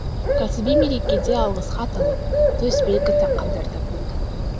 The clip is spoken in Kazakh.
кәсіби мерекеде алғыс хат алып төс белгі таққандар да болды